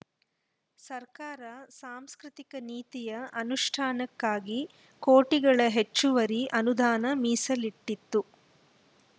ಸರ್ಕಾರ ಸಾಂಸ್ಕೃತಿಕ ನೀತಿಯ ಅನುಷ್ಠಾನಕ್ಕಾಗಿ ಕೋಟಿಗಳ ಹೆಚ್ಚುವರಿ ಅನುದಾನ ಮೀಸಲಿಟ್ಟಿತ್ತು